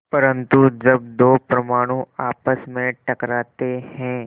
परन्तु जब दो परमाणु आपस में टकराते हैं